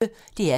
DR P1